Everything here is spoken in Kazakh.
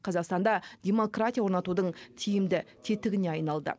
қазақстанда демократия орнатудың тиімді тетігіне айналды